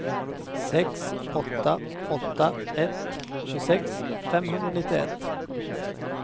sex åtta åtta ett tjugosex femhundranittioett